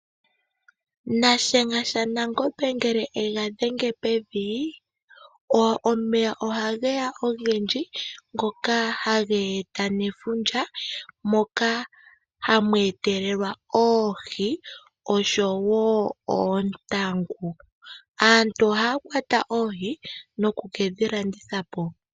Nashenga shaNangombe ngele ega dhenge pevi. Omeya ohageya ogendji ngoka hage eta nefundja, moka hamu etelelwa oohi oshowo oontangu. Aantu ohaya kwata oohi noku kedhilanditha po.